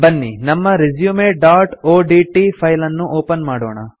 ಬನ್ನಿ ನಮ್ಮ resumeಒಡಿಟಿ ಫೈಲ್ ಅನ್ನು ಒಪನ್ ಮಾಡೋಣ